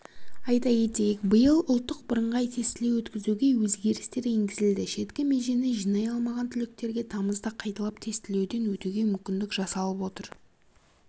айта кетейік биыл ұлттық бірыңғай тестілеу өткізуге өзгерістер енгізілді шеткі межені жинай алмаған түлектерге тамызда қайталап тестілеуден өтуге мүмкіндік жасалып отыр